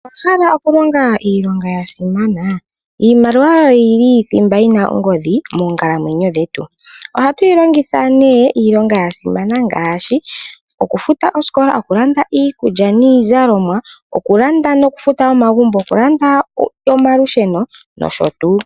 Owahala okulonga iilonga yasimana? Iimaliwa oyo thimba yi na ongodhi moonkalamwenyo dhetu. Ohatu yilongitha iilonga yasimana ngaashi okufuta oosikola, okulanda iikulya niizalomwa, okufuta noku landa omagumbo, okulanda omalusheno nosho tuu.